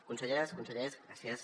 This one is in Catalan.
conselleres consellers gràcies